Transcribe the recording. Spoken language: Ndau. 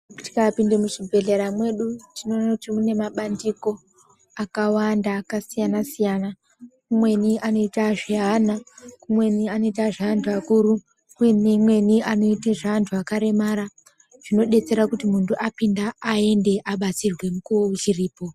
Tikapinde muzvibhehlera mwedu tinoone kuti mune mabandiko akawanda akasiyana-siyana. Kumweni anoita zveana, kumweni anoita zveantu akuru, kumweni anoita zveantu akaremara. Zvinodetsera kuti muntu apinda aende abatsirwe mukuwo uchiripo.